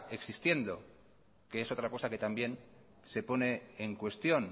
existiendo que es otra cosa que también se pone en cuestión